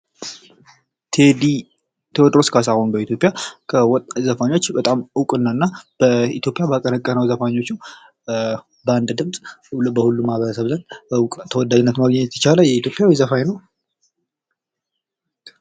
ቴዲ፤ ቴዎድሮስ ካሳሁን በኢትዮጵያ ከወጡ ዘፋኞች ነው። በጣም እውቅናና በኢትዮጵያ ባቀነቀነው ዘፋኞቹ በአንድ ድምጽ በሁሉም ማህበረሰብ ተወዳጅነት ማግኘት የቻለ ኢትዮጵያዊ ዘፋኝ ነው ።